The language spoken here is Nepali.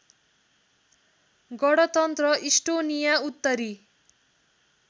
गणतन्त्र इस्टोनिया उत्तरी